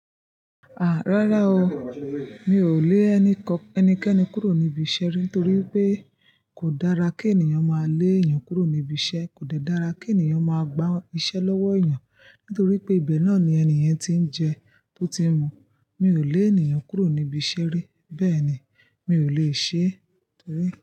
Rárá o, mi ò lé ẹnìkan ẹnikẹ́ni kúrò níbi iṣẹ́ rẹ̀ nítorí pé kò dára kí ènìyàn máa lé ènìyàn kúrò níbi iṣẹ́. Kò dẹ́ dára kí ènìyàn máa gbá iṣẹ́ lọ́wọ́ ènìyàn nítorí pé ibẹ̀ náà ni ènìye tí ń jẹ to ti ń mu. Mi ò lé ènìyàn kúrò níbi iṣẹ́ ri. Bẹ́ẹ̀ ni, mi ò lè ṣe é torí.